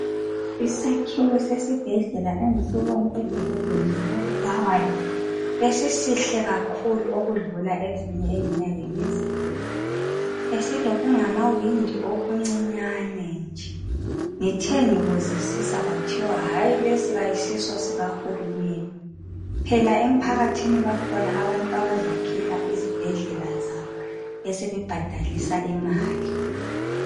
Isakhiwo sesibhedlela engisibone edolobheni lako Bulawayo besisihle kakhulu ukudlula ezinye engiyake ngizibone .Besilokungamawindi okuncinyane nje. Ngithengi buzisisa kwathiwa hayi lesi kayisiso sikahulumunende .Phela emphakathini bakhona abantu abazakhela izibhedlela zabo besebe bhadalisa imali .